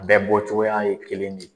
U bɛɛ bɔcogoya ye kelen ye